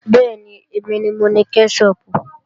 Bẹ́ẹ̀ni, èmi ni mo ni kẹ́ṣọpù